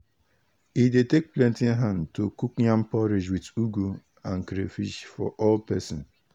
e dey take plenty hand to cook yam porridge with ugu and crayfish for all person.